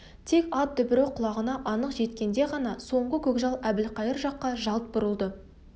тек ат дүбірі құлағына анық жеткенде ғана соңғы көкжал әбілқайыр жаққа жалт бұрылды